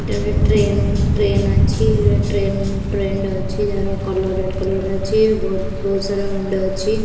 ଏଇଟା ଗୋଟେ train train ଅଛି ଏଟା ଗୋଟେ ଟ୍ରେନ ଟ୍ରେଣ୍ଡ ଅଛି ଯାହାର କଲର୍ ରେଡ୍ କଲର୍ ଅଛି ବୋହୁତ ସାରା ମୁଣ୍ଡ ଅଛି।